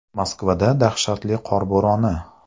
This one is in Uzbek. Moskvada dahshatli qor bo‘roni!